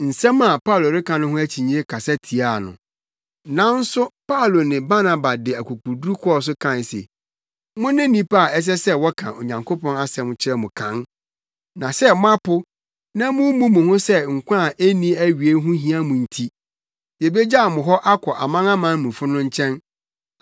Nanso Paulo ne Barnaba de akokoduru kɔɔ so kae se, “Mone nnipa a ɛsɛ sɛ wɔka Onyankopɔn asɛm no kyerɛ mo kan. Na sɛ moapo, na mummu mo ho sɛ nkwa a enni awiei ho hia mo nti, yebegyaw mo hɔ akɔ amanamanmufo no nkyɛn.